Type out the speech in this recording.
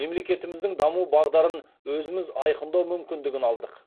мемлекетіміздің даму бағдарын өзіміз айқындау мүмкіндігін алдық